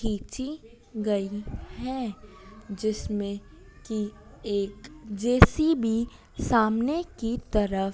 खींची गई है जिसमें की एक जे_सी_बी सामने की तरफ--